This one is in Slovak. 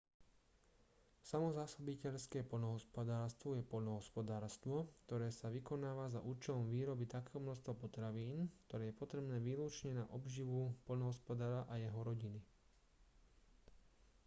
samozásobiteľské poľnohospodárstvo je poľnohospodárstvo ktoré sa vykonáva za účelom výroby takého množstva potravín ktoré je potrebné výlučne na obživu poľnohospodára a jeho rodiny